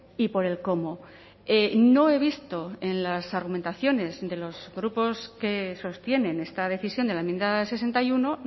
y por el cómo no he visto en las argumentaciones de los grupos que sostienen esta decisión de la enmienda sesenta y uno